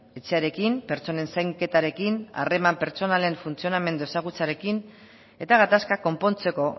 etxearekin pertsonen zainketarekin harreman pertsonalen funtzionamendu ezagutzearekin eta gatazka konpontzeko